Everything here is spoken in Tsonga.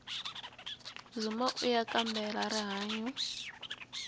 dzumbauya kambela rihanyu